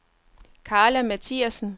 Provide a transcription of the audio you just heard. Karla Mathiassen